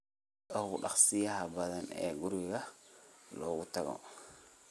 sida ugu dhakhsiyaha badan ee guriga lagu tago